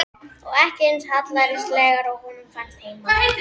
Og ekki eins hallærislegar og honum fannst heima.